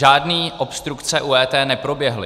Žádné obstrukce u EET neproběhly.